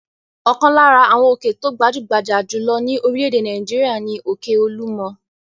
Ọ̀kan lára àwọn òkè tó gbajú-gbajà jù lọ ní orílẹ̀-èdè Nàìjíríà ni òkè Olúmọ.